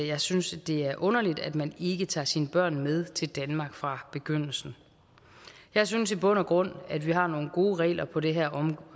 jeg synes det er underligt at man ikke tager sine børn med til danmark fra begyndelsen jeg synes i bund og grund at vi har nogle gode regler på det her